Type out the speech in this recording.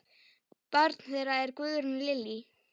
Barn þeirra er Guðrún Lillý.